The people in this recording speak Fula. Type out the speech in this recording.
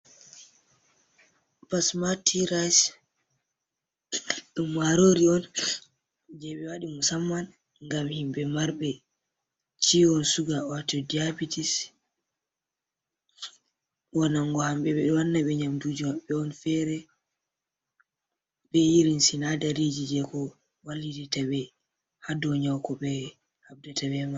Pasmatirayis, ɗum marori on jeɓe waɗi musamman ngam himɓe marɓe ciwon suga wato diyabitis. waɗango ɓe nyamduji maɓɓe on fere, be irin sinadariji jeko wallititaɓe hadonyawu koɓe haɓdata beman.